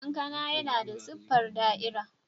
Kankana yana da siffar da'ira.